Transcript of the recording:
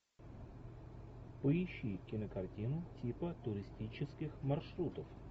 поищи кинокартину типа туристических маршрутов